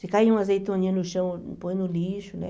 Se cair uma azeitoninha no chão, põe no lixo, né?